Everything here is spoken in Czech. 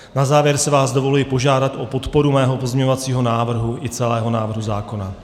Na závěr si vás dovoluji požádat o podporu svého pozměňovacího návrhu i celého návrhu zákona.